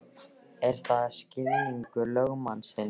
Er það skilningur lögmannsins?